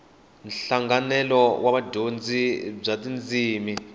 nhlanganelo wa vudyondzi bya tindzimi